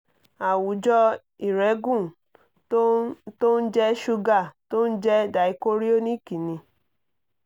àwùjọ ìrẹ́gùn tó ń tó ń jẹ́ ṣúgà tó ń jẹ́ dichorionic ni